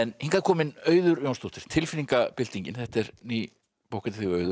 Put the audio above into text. hingað er komin Auður Jónsdóttir þetta er ný bók eftir þig Auður